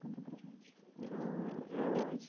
Conta para gente. Não eu.